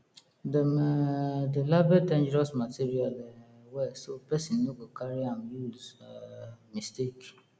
dem um dey label dangerous material um well so person no go carry am use um mistake